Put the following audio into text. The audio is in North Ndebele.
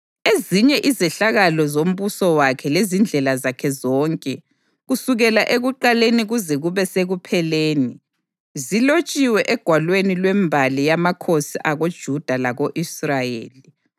Ezinye izehlakalo zombuso wakhe lezindlela zakhe zonke, kusukela ekuqaleni kuze kube sekupheleni, zilotshiwe egwalweni lwembali yamakhosi akoJuda lako-Israyeli.